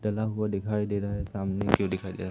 टला हुआ दिखाई दे रहा है सामने की ओर दिखाई दे रहा--